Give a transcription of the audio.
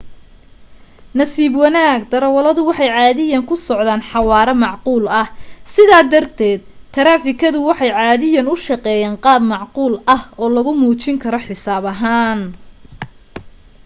nasiib wanaag darawaladu waxay caadiyan ku socdan xawaare macquul ah sidaa darteed taraafikada waxay caadiyan u shaqeeyan qaab macquul ah oo lagu muujin karo xisaab ahaan